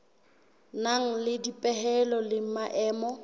nang le dipehelo le maemo